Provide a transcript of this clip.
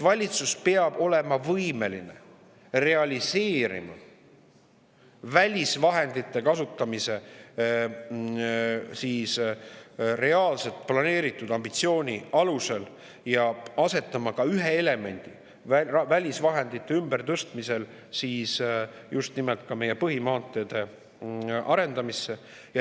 Valitsus peab olema võimeline realiseerima välisvahendite kasutamise reaalselt planeeritud ambitsiooni alusel ja asetama ka ühe välisvahendite ümbertõstmisel just nimelt meie põhimaanteede arendamisse.